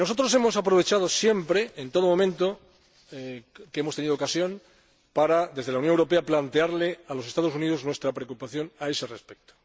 Hemos aprovechado siempre que hemos tenido ocasión para, desde la Unión Europea, plantearle a los Estados Unidos nuestra preocupación a ese respecto.